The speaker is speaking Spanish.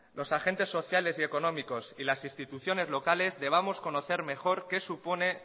los agentes sociales y económicos y las instituciones locales debamos conocer mejor qué supone